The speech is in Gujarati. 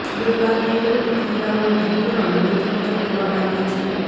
દુર્ભાગ્ય યુક્ત ચહેરાઓનું વિવરણ નીચે મુજબ કરવામાં આવ્યું છે